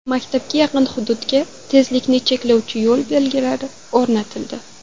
Maktabga yaqin hududga tezlikni cheklovchi yo‘l belgilari o‘rnatildi.